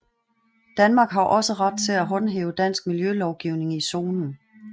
Danmark har også ret til at håndhæve dansk miljølovgivning i zonen